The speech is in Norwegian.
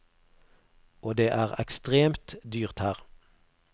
Og det er ekstremt dyrt her.